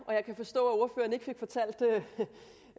og jeg kan forstå